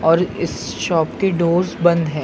और इस शॉप की डोर्स बंद हैं।